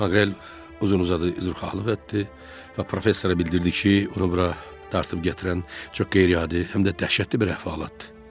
Maqrel uzun-uzadı üzrxahlıq etdi və professoru bildirdi ki, onu bura dartıb gətirən çox qeyri-adi, həm də dəhşətli bir əhvalatdır.